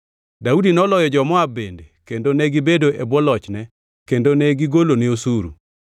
Daudi noloyo jo-Moab bende kendo negibedo e bwo lochne kendo negigolone osuru.